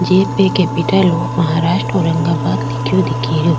जे पे capital of Maharashtra Aurangabad लिख्यो दिखे रो।